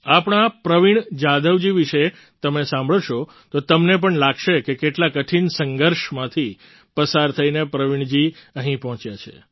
આપણા પ્રવીણ જાધવજી વિશે તમે સાંભળશો તો તમને પણ લાગશે કે કેટલા કઠિન સંઘર્ષમાંથી પસાર થઈને પ્રવીણજી અહીં પહોંચ્યા છે